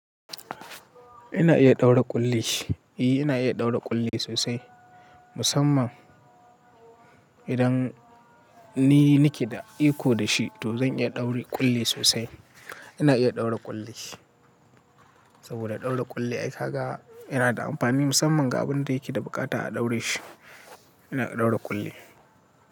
Ina iya ɗaura ƙulli. Eh, ina iya ɗaura ƙulli sosai. Musamman idan ni nake da iko da shi to zan iya ɗaura ƙulli sosai. Ina iya ɗaura ƙulli. Saboda ɗaura ƙulli aika ga yana da amfani musamman ga abin da yake da buƙata a ɗaure shi. Ina iya ɗaura ƙulli.